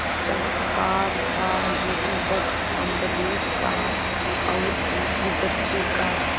चमत्कार था यह भक्त अम्बरीश का और उनकी भक्ति का